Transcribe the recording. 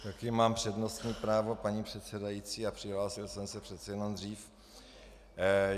Taky mám přednostní právo, paní předsedající, a přihlásil jsem se přece jenom dřív.